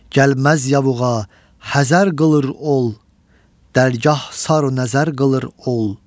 Gəlməz yavuqa, həsər qılır ol, dərgah saru nəzər qılır ol.